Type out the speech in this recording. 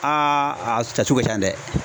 a si tiasu ka ca dɛ.